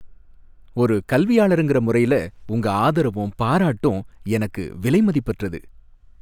ஒரு கல்வியாளருங்க முறையில உங்க ஆதரவும் பாராட்டும் எனக்கு விலைமதிப்பற்றது.